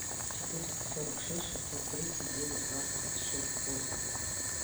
четыреста сорок шесть шестьсот тридцать девять двадцать шесть восемь